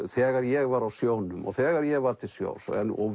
þegar ég var á sjónum og þegar ég var til sjós og